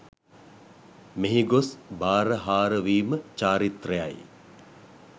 මෙහි ගොස් බාරහාරවීම චාරිත්‍රයයි.